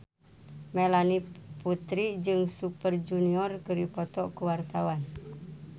Melanie Putri jeung Super Junior keur dipoto ku wartawan